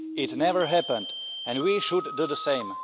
It had never happened and we should do the same.